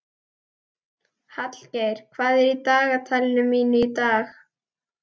Hallgeir, hvað er í dagatalinu mínu í dag?